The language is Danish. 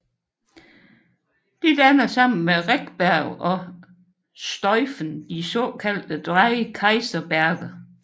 Det danner sammen med Rechberg og Stuifen de såkaldte Drei Kaiserberge